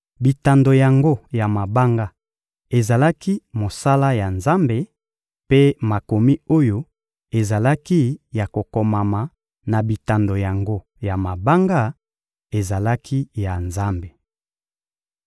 Bitando yango ya mabanga ezalaki mosala ya Nzambe, mpe makomi oyo ezalaki ya kokomama na bitando yango ya mabanga ezalaki ya Nzambe.